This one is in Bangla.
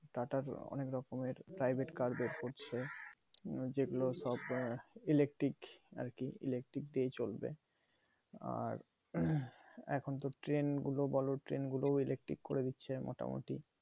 tata তো অনেক রকমের private car বের করছে যেইগুলো সব electric আর কি electric দিয়ে চলবে আর এখনতো train গুলো বলো train গুলো electric করে দিচ্ছে মোটামোটি